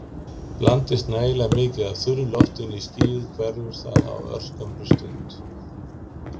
Blandist nægilega mikið af þurra loftinu inn í skýið hverfur það á örskammri stund.